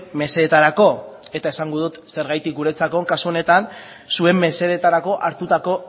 mesedetarako eta esango dut zergatik guretzat kasu honetan zuen mesedetarako hartutako